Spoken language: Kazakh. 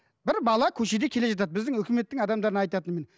бір бала көшеде келе жатады біздің өкіметтің адамдарына айтатыным міне